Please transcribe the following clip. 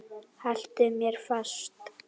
Haltu mér fast!